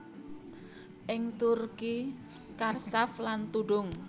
Ing Turki charshaf lan tudung